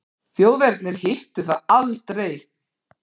Þjóðverjarnir hittu það aldrei.